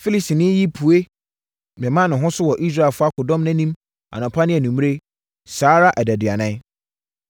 Filistini yi pue mema ne ho so wɔ Israelfoɔ akodɔm nʼanim anɔpa ne anwummerɛ, saa ara adaduanan.